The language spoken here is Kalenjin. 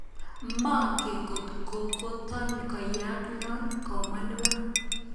"Mongen kotkotot koyaak non,"kamwa nebo,